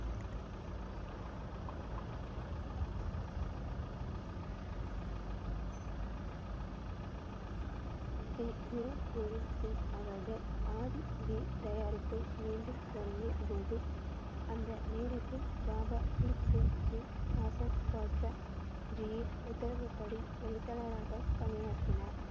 ஸ்ரீ குரு கோவிந்த் சிங் அவர்கள் தயாரிப்பை மீண்டும் தொடங்கிய போது அந்த நேரத்தில் பாபா தீப் சிங் ஜி, ஹசன் பாட்ஷா ஜி இன் உத்தரவுப்படி எழுத்தாளராக பணியாற்றினார்.